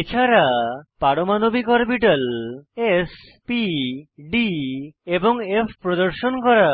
এছাড়া পারমাণবিক orbital s p d এবং ফ প্রদর্শন করা